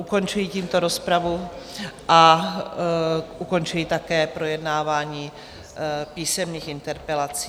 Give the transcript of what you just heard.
Ukončuji tímto rozpravu a ukončuji také projednávání písemných interpelací.